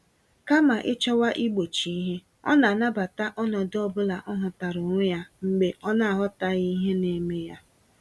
Kama ịchọwa igbochi ìhè, ọna anabata ọnọdụ ọbula ọhụtara onwe ya mgbe ọnaghọtaghị ihe neme ya.